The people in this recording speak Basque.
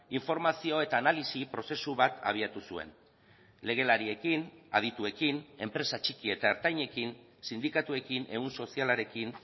informazio eta analisi prozesu bat abiatu zuen legelariekin adituekin enpresa txiki eta ertainekin sindikatuekin ehun sozialarekin